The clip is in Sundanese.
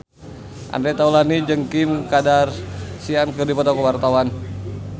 Andre Taulany jeung Kim Kardashian keur dipoto ku wartawan